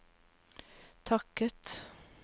takket